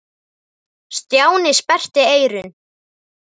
Stjáni sperrti eyrun.